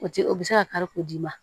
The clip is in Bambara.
O tɛ o bɛ se ka kari k'o d'i ma